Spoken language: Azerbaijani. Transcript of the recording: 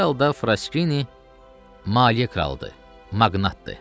Hər halda Fraskini maliyyə kralıdır, maqnatdır.